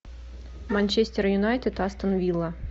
манчестер юнайтед астон вилла